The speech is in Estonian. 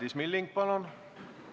Madis Milling, palun!